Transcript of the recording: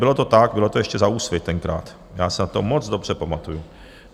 Bylo to tak, bylo to ještě za Úsvit tenkrát, já se na to moc dobře pamatuju.